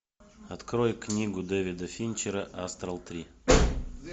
открой книгу дэвида финчера астрал три